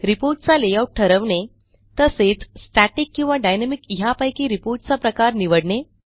report चा layout ठरवणे तसेच स्टॅटिक किंवा डायनॅमिक ह्यापैकी रिपोर्ट चा प्रकार निवडणे